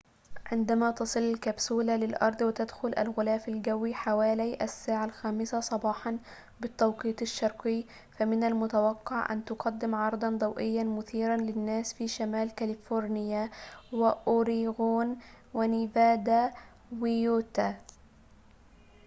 عندما تصل الكبسولة للأرض وتدخل الغلاف الجوّي، حوالي الساعة الخامسة صباحاً بالتوقيت الشرقي، فمن المتوقع أن تقدّم عرضاً ضوئياً مثيراً للناس في شمال كاليفورنيا، وأوريغون، ونيفادا ويوتا